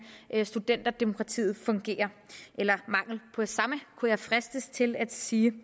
studenterdemokratiet eller mangelen på samme kunne jeg fristes til at sige